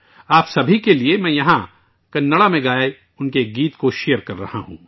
آپ سبھی کے لیے، میں یہاں کنڑا میں گایا گیا اس کا ایک گانا شیئر کر رہا ہوں